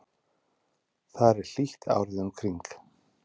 þar er hlýtt árið um kring